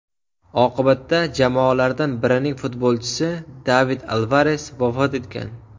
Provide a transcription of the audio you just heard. Oqibatda jamoalardan birining futbolchisi David Alvares vafot etgan.